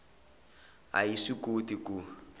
a yi swi koti ku